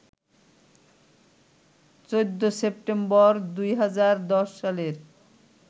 ১৪ September ২০১০ সালের